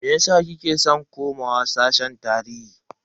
Meyasa kike san komawa sashen tarihi?